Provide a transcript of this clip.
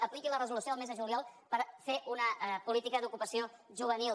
apliqui la resolució del mes de juliol per fer una política d’ocupació juvenil